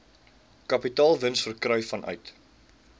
kapitaalwins verkry vanuit